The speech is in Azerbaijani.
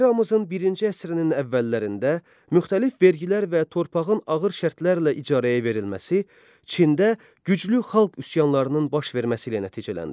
Eramızın birinci əsrinin əvvəllərində müxtəlif vergilər və torpağın ağır şərtlərlə icarəyə verilməsi Çində güclü xalq üsyanlarının baş verməsi ilə nəticələndi.